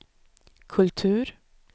kultur